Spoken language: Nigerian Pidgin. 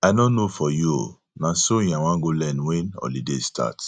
i no know for you oo na sewing i wan go learn wen holiday start